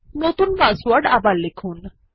নতুন পাসওয়ার্ড আবার লিখুন